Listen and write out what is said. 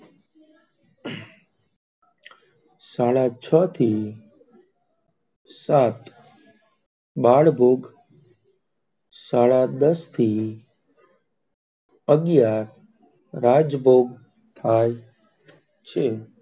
સાડા છ થી સાત બાલ ભોગ, સાડા દશ થી અગિયાર રાજ ભોગ, થાય છે.